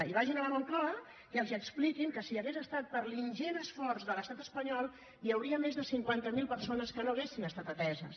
i vagin a la moncloa i els expliquin que si hagués estat per l’ingent esforç de l’estat espanyol hi hauria més de cinquanta mil persones que no haurien estat ateses